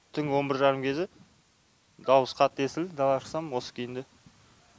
түнгі он бір жарым кезі дауыс қатты естілді далаға шықсам осы күйінде